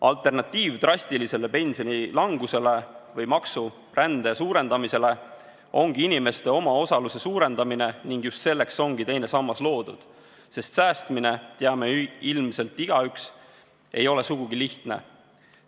Alternatiiv drastilisele pensionilangusele või maksurände suurendamisele ongi inimeste omaosaluse suurendamine ning just selleks ongi teine sammas loodud, sest säästmine, teame ilmselt igaüks, ei ole sugugi lihtne.